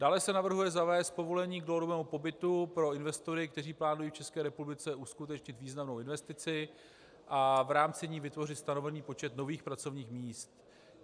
Dále se navrhuje zavést povolení k dlouhodobému pobytu pro investory, kteří plánují v České republice uskutečnit významnou investici a v rámci ní vytvořit stanovený počet nových pracovních míst.